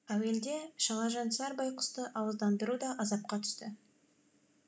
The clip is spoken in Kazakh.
әуелде шалажансар байқұсты ауыздандыру да азапқа түсті